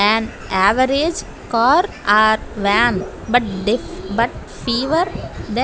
an average car are vam but they but fever --